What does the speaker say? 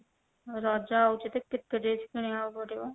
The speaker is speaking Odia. ରଜ ଆଉଛି ତ କେତେ dress କିଣିବାକୁ ପଡିବ